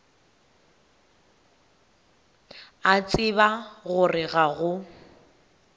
a tseba gore ga go